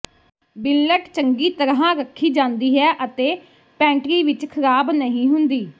ਬਿੰਲਟ ਚੰਗੀ ਤਰ੍ਹਾਂ ਰੱਖੀ ਜਾਂਦੀ ਹੈ ਅਤੇ ਪੈਂਟਰੀ ਵਿਚ ਖਰਾਬ ਨਹੀਂ ਹੁੰਦੀ